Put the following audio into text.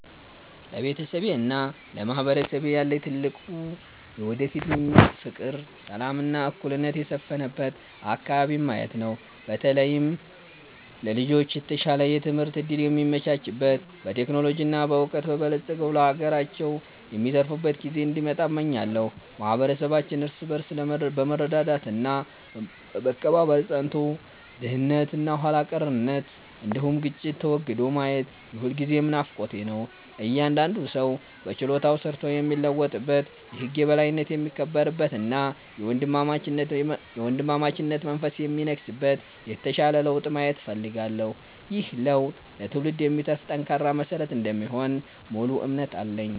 ለቤተሰቤና ለማህበረሰቤ ያለኝ ትልቁ የወደፊት ምኞት ፍቅር፣ ሰላም እና እኩልነት የሰፈነበት አከባቢን ማየት ነው። በተለይም ለልጆች የተሻለ የትምህርት እድል የሚመቻችበት፣ በቴክኖሎጂ እና በዕውቀት በልጽገው ለሀገራቸው የሚተርፉበት ጊዜ እንዲመጣ እመኛለሁ። ማህበረሰባችን እርስ በርስ በመረዳዳት እና በመከባበር ጸንቶ፣ ድህነት እና ኋላ ቀርነት እንዲሁም ግጭት ተወግዶ ማየት የሁልጊዜም ናፍቆቴ ነው። እያንዳንዱ ሰው በችሎታው ሰርቶ የሚለወጥበት፣ የህግ የበላይነት የሚከበርበት እና የወንድማማችነት መንፈስ የሚነግስበት የተሻለ ለውጥ ማየት እፈልጋለሁ። ይህ ለውጥ ለትውልድ የሚተርፍ ጠንካራ መሰረት እንደሚሆን ሙሉ እምነት አለኝ።